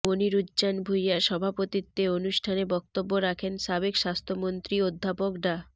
মনিরুজ্জান ভূইয়ার সভাপতিত্বে অনুষ্ঠানে বক্তব্য রাখেন সাবেক স্বাস্থ্যমন্ত্রী অধ্যাপক ডা